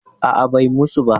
A'a, bai musu ba.